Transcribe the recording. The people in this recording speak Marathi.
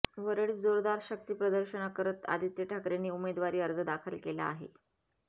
वरळीत जोरदार शक्तीप्रदर्शन करत आदित्य ठाकरेंनी उमदेवारी अर्ज दाखल केला आहे